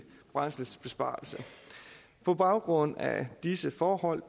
brændselsbesparelse på baggrund af disse forhold